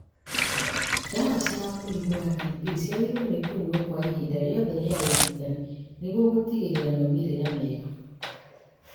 Ndawa cia mũrimũ wa TB ciagĩrĩirwo nĩ kũnyuo kwa ihinda rĩothe rĩa ũrigitani nĩguo gũtigĩrĩra maumĩrĩra mega